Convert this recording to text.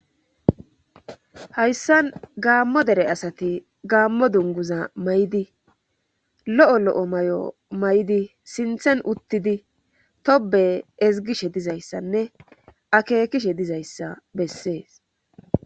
Hayssan gaammo dere asati gaammo dunguza may7di lo7o lo7o may7o may7di sinthen uttidi tobe ezgishe dizayssanne akeekishe dizayssa bessees